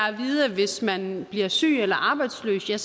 at vide at hvis man bliver syg eller arbejdsløs har